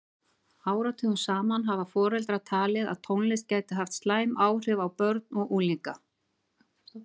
Áratugum saman hafa foreldrar talið að tónlist gæti haft slæm áhrif á börn og unglinga.